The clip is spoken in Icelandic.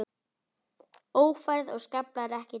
Ófærð og skaflar ekki til.